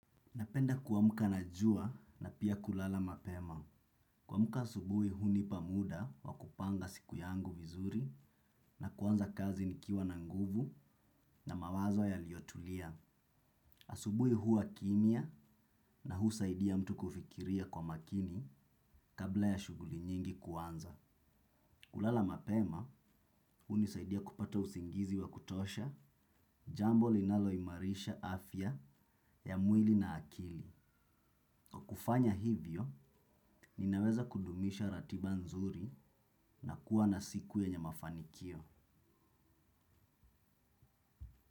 Napenda kuamka na jua na pia kulala mapema. Kuamka asubui hunipa muda wa kupanga siku yangu vizuri na kuanza kazi nikiwa na nguvu na mawazo yaliyotulia. Asubui huwa kimya na husaidia mtu kufikiria kwa makini kabla ya shughuli nyingi kwanza. Kulala mapema hunisaidia kupata usingizi wa kutosha jambo linalo imarisha afya ya mwili na akili. Kwa kufanya hivyo, ninaweza kudumisha ratiba nzuri na kuwa na siku yenye mafanikio.